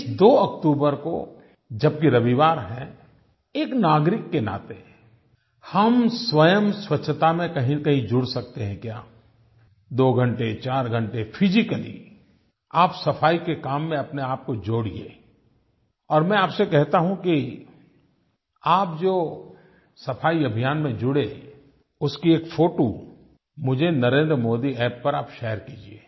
इस 2 अक्टूबर को जबकि रविवार है एक नागरिक के नाते हम स्वयं स्वच्छता में कहींनकहीं जुड़ सकते हैं क्या 2 घंटे 4 घंटे फिजिकली आप सफ़ाई के काम में अपनेआप को जोड़िये और मैं आपसे कहता हूँ कि आप जो सफ़ाई अभियान में जुड़े उसकी एक फोटो मुझे नरेंद्रमोदीअप्प पर आप शेयर कीजिए